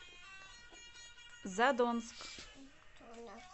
задонск